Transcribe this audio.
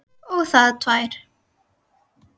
Og það tvær.